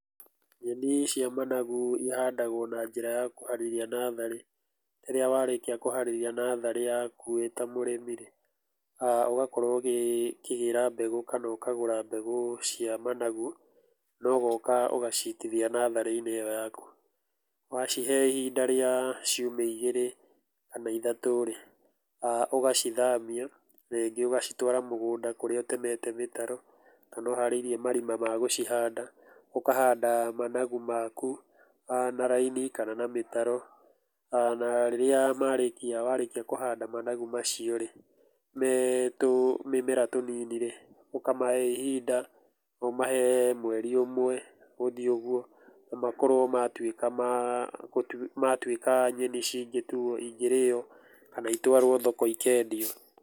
Nyeni cia managu ihandagũo njĩra ya kũharĩria natharĩ. Rĩrĩa warĩkia kũharĩrĩria natharĩ yaku wĩ ta mũrĩmi rĩ, ũgakorũoa ũkĩgĩra mbegũ kana ũkagũra mbegũ cia managu na ũgoka ũgaciitithia natharĩ-inĩ ĩyo yaku. Wacihe ihinda rĩa ciumia igĩrĩ kana ithatũ rĩ, ũgacithamia rĩngĩ ũgacitũara mũgũnda kũrĩa ũtemete mĩtaro kana ũharĩirie marima ma gũcihanda. Ũkahanda managu maku na raini kana na mĩtaro. Na rĩrĩa marĩkia warĩkia kũhanda managu macio rĩ, me tũmĩmera tũnini rĩ, ũkamahe ihinda, ũmahe mweri ũmwe gũthiĩ ũguo na makorũo matuĩka nyeni cingĩtuo ingĩrĩo kana itwarwo thoko ikendio.